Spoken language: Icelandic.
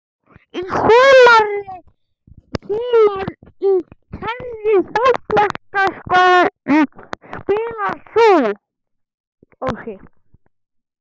Í sumar Í hvernig fótboltaskóm spilar þú?